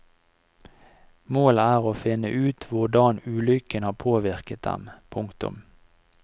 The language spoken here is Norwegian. Målet er å finne ut hvordan ulykken har påvirket dem. punktum